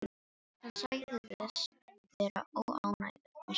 Hann sagðist vera óánægður með sjálfan sig.